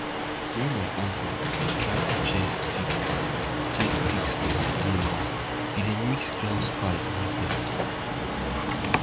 when my uncle dey try to chase ticks chase ticks from hin animals he dey mix ground spices give dem